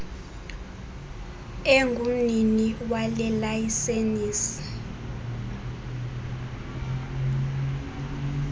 engumnini wale layisenisi